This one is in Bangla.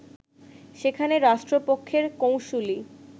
সেখানে রাষ্ট্রপক্ষের কৌঁসুলি